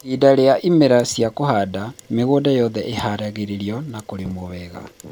ihinda rĩa ĩmera cĩa kũhanda, mĩgũnda yothe ĩharagĩrio na kũrĩmwo wega